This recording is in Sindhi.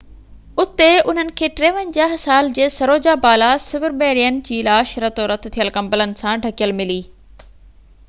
اُتي انهن کي 53 سال جي سروجا بالا سبرميڻين جي لاش رتو رت ٿيل ڪمبلن سان ڍڪيل ملي